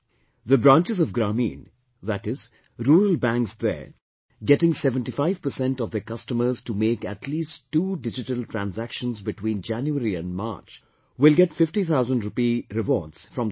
The branches of Grameen, that is, Rural Banks there getting 75% of their customers to make at least two digital transactions between January and March will get 50 thousands rupees rewards from the government